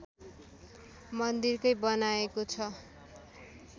मन्दिरकै बनाइएको छ